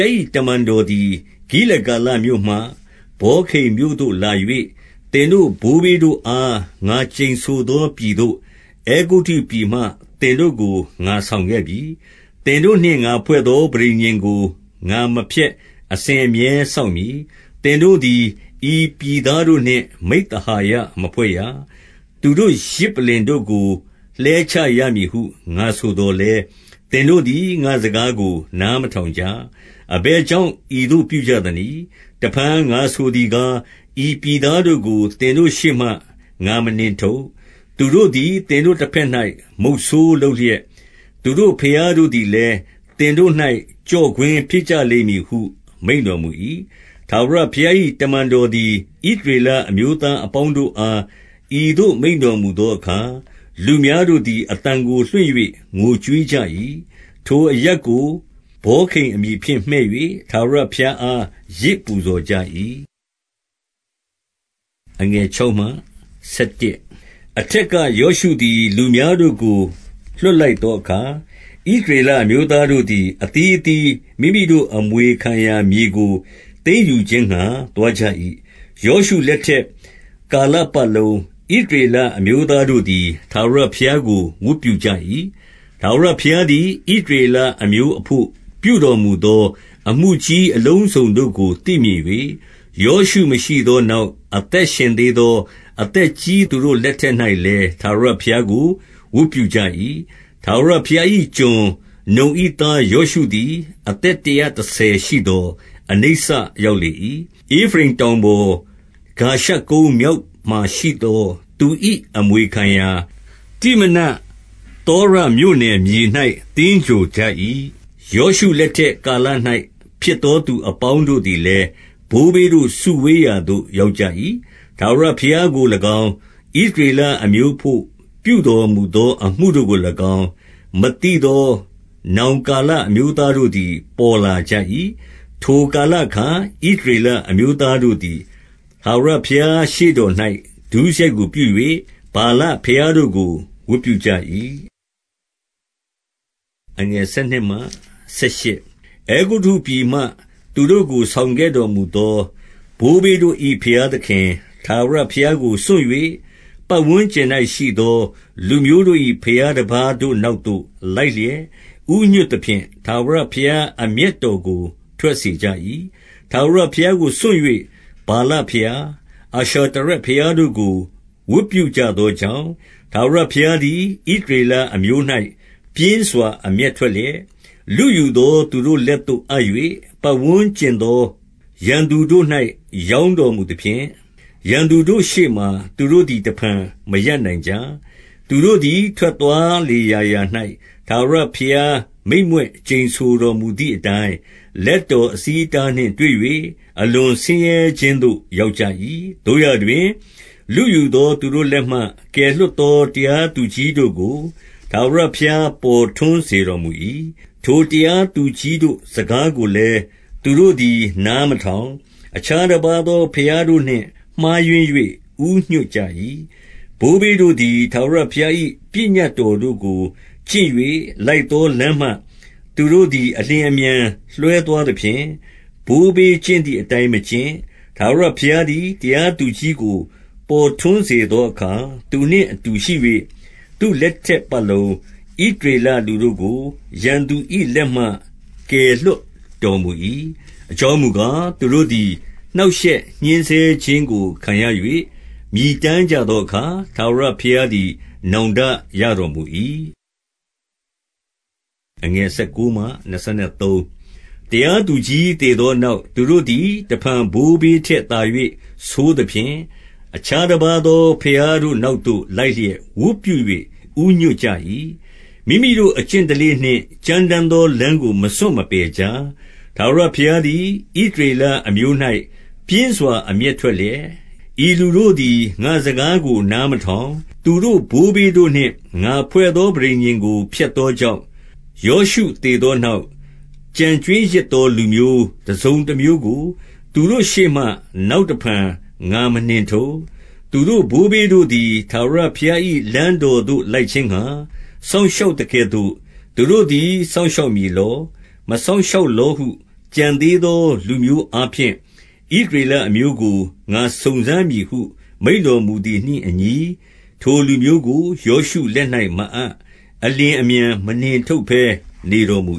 ား၏ တမန်တော်သည်၊ ဂိလဂါလမြို့မှ ဗောခိမ်မြို့သို့ လာ၍၊ သင်တို့ ဘိုးဘေးတို့အား ငါကျိန်ဆိုသော ပြည်သို့ အဲဂုတ္တုပြည်မှ သင်တို့ကို ငါဆောင်ခဲ့ပြီ။ သင်တို့နှင့် ငါဖွဲ့သော ပဋိညာဉ်ကို ငါမဖျက်အစဉ်အမြဲစောင့်မည်။ 2 သင်တို့သည် ဤပြည်သားတို့နှင့် မိဿဟာယမဖွဲ့ရ။ သူတို့ ယဇ်ပလ္လင်တို့ကို လှဲချရမည်ဟု ငါ ဆိုသော်လည်း၊ သင်တို့သည် ငါ့စကားကို နားမထောင်ကြ။ အဘယ်ကြောင့် ဤသို့ ပြုကြသနည်း။ 3 တဖန် ငါဆိုသည်ကား၊ ဤပြည်သားတို့ကို သင်တို့ရှေ့မှ ငါမနှင်ထုတ်။ သူတို့သည် သင်တို့ တဘက်၌ မုဆိုးလုပ်လျက်၊ သူတို့ဘုရားတို့သည်လည်း သင်တို့၌ ကျော့ကွင်းဖြစ်ကြလိမ့်မည်ဟု မိန့်တော်မူ၏။ 4 ထာဝရဘုရား၏ တမန်တော်သည် ဣသရေလအမျိုးသားအပေါင်းတို့အား ဤသို့ မိန့်တော်မူသောအခါ၊ လူများတို့သည် အသံကို လွှင့်၍ ငိုကြွေးကြ၏။ 5 ထိုအရပ်ကို ဗောခိမ်အမည်ဖြင့် မှည့်၍ ထာဝရဘုရားအား ယဇ်ပူဇော်ကြ၏။ 6 အထက်က ယောရှုသည် လူများတို့ကို လွှတ်လိုက်သောအခါ၊ ဣသရေလအမျိုးသားတို့သည် အသီးအသီး မိမိတို့အမွေခံရာမြေကို သိမ်းယူခြင်းငှါ သွားကြ၏။ 7 ယောရှုလက်ထက်ကာလပတ်လုံး၊ ဣသရေလအမျိုးသားတို့သည် ထာဝရဘုရားကို ဝတ်ပြုကြ၏။ထာဝရဘုရားသည် ဣသရေလအမျိုးအဘို့ ပြုတော်မူသော အမှုကြီးအလုံးစုံတို့ကို သိမြင်၍၊ ယောရှုမရှိသောနောက် အသက်ရှင်သေးသော အသက်ကြီးသူတို့လက်ထက်၌လည်း ထာဝရဘုရားကို ဝတ်ပြုကြ၏။ 8 ထာဝရဘုရား၏ကျွန်၊ နုန်၏သား ယောရှုသည် အသက်တရာတဆယ်ရှိသော် အနိစ္စရောက်လေ၏။ 9 ဧဖရိမ်တောင်ပေါ်၊ ဂါရှကုန်းမြောက်မှာရှိသော သူ၏အမွေခံရာ တိမနဿေရမြို့နယ်မြေ၌ သင်္ဂြိုဟ်ကြ၏။ 10 ယောရှုလက်ထက်ကာလ၌ ဖြစ်သော သူအပေါင်းတို့သည်လည်း၊ ဘိုးဘေးတို့ စုဝေးရာသို့ ရောက်ကြ ၏။ ထာဝရဘုရားကို၎င်း၊ ဣသရေလအမျိုးအဘို့ ပြုတော်မူသော အမှုတို့ကို၎င်း မသိသော နောင်ကာလအမျိုးသားတို့သည် ပေါ်လာကြ၏။ 11 ထိုကာလအခါ ဣသရေလအမျိုးသားတို့သည် ထာဝရဘုရားရှေ့တော်၌ ဒုစရိုက်ကို ပြု၍ ဗာလဘုရားတို့ကို ဝတ်ပြုကြ၏။ 12 အဲဂုတ္တုပြည်မှ သူတို့ကို ဆောင်ခဲ့တော်မူသော ဘိုးဘေးတို့၏ ဘုရားသခင် ထာဝရဘုရားကို စွန့်၍၊ ပတ်ဝန်းကျင်၌ရှိသော လူမျိုးတို့၏ ဘုရားတပါးတို့နောက်သို့ လိုက်လျက် ဦးညွှတ်သဖြင့် ထာဝရဘုရား အမျက်တော်ကို ထွက်စေကြ၏။ 13 ထာဝရဘုရားကို စွန့်၍ ဗာလဘုရား၊ အာရှတရက်ဘုရားတို့ကို ဝတ်ပြုကြသောကြောင့်၊ 14 ထာဝရဘုရားသည် ဣသရေလအမျိုး၌ ပြင်းစွာ အမျက်ထွက်လျက်၊ လုယူသော သူတို့လက်သို့ အပ်၍၊ ပတ်ဝန်းကျင်သော ရန်သူတို့၌ ရောင်းတော်မူသဖြင့်၊ ရန်သူတို့ ရှေ့မှာ သူတို့သည် တဖန် မရပ်နိုင်ကြ။ 15 သူတို့သည် ထွက်သွားလေရာရာ၌ ထာဝရဘုရား မိန့်မြွက်ကျိန်ဆိုတော်မူသည်အတိုင်း၊ လက်တော် အဆီးအတားနှင့် တွေ့၍ အလွန်ဆင်းရဲခြင်းသို့ ရောက်ကြ၏။ 16 သို့ရာတွင် လုယူသော သူတို့လက်မှ ကယ်လွှတ်သော တရားသူကြီးတို့ကို ထာဝရဘုရား ပေါ်ထွန်း စေတော်မူ၏။ 17 ထိုတရားသူကြီးတို့ စကားကိုလည်း သူတို့သည် နားမထောင်၊ အခြားတပါးသော ဘုရားတို့နှင့် မှားယွင်း၍ ဦးညွှတ်ကြ၏။ ဘိုးဘေးတို့သည် ထာဝရဘုရား၏ ပညတ်တော်တို့ကို ကျင့်၍ လိုက်သော လမ်းမှ သူတို့သည် အလျင်အမြန်လွဲသွားသဖြင့်၊ ဘိုးဘေးကျင့်သည်အတိုင်း မကျင့်ကြ။ 18 ထာဝရဘုရားသည် တရားသူကြီးကို ပေါ်ထွန်းစေသောအခါ သူနှင့်အတူရှိ၍၊ သူ့လက်ထက် ပတ်လုံး ဣသရေလလူတို့ကို ရန်သူ၏လက်မှ ကယ်လွှတ်တော်မူ၏။ အကြောင်းမူကား သူတို့သည် နှောင့်ရှက်ညှဉ်းဆဲခြင်းကို ခံရ၍ မြည်တမ်းကြသောအခါ ထာဝရဘုရားသည် နောင်တရတော်မူ၏။ 19 တရားသူကြီး သေသောနောက်၊ သူတို့သည် တဖန်ဘိုးဘေးထက်သာ၍ ဆိုးသဖြင့်၊ အခြားတပါးသော ဘုရားတို့နောက်သို့ လိုက်လျက် ဝတ်ပြု၍ ဦးညွှတ်ကြ၏။ မိမိတို့ အကျင့်ဓလေ့နှင့် ကြမ်းတမ်းသော လမ်းကို မစွန့်မပယ်ကြ။ 20 ထာဝရဘုရားသည် ဣသရေလအမျိုး၌ ပြင်းစွာ အမျက်ထွက်လျက်၊ ဤလူတို့သည် ငါ့စကားကို နားမထောင်။ သူတို့ ဘိုးဘေးတို့နှင့် ငါဖွဲ့သော ပဋိညာဉ်ကို ဖျက်သောကြောင့်၊ 21 ယောရှုသေသောနောက် ကျန်ကြွင်းရစ်သော လူမျိုးတစုံတမျိုးကို သူတို့ရှေ့မှ နောက်တဖန် ငါမနှင်ထုတ်။ 22 သူတို့ ဘိုးဘေးတို့သည် ထာဝရဘုရား၏လမ်းတော်သို့ လိုက်ခြင်းငှါ စောင့်ရှောက်သကဲ့သို့ သူတို့သည် စောင့်ရှောက်မည်လော၊ မစောင့်ရှောက်လောဟု ကျန်သေးသော လူမျိုးအားဖြင့် ဣသရေလအမျိုးကို ငါစုံစမ်းမည်ဟု မိန့်တော်မူသည်နှင့်အညီ၊ 23 ထိုလူမျိုးကို ယောရှုလက်၌ မအပ် အလျင်အမြန် မနှင်ထုတ်ဘဲ နေတော်မူ